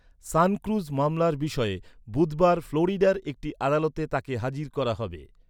SunCruz মামলার বিষয়ে বুধবার ফ্লোরিডার একটি আদালতে তাকে হাজির করা হবে।